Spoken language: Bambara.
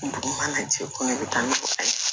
Dugu mana jɛ ko ne bɛ taa ni mɔgɔ ye